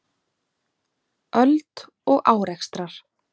Hann sagði að búið væri að láta mömmu vita og hún biði eftir mér.